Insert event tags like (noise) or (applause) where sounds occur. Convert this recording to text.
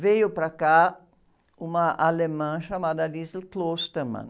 veio para cá uma alemã chamada. (unintelligible)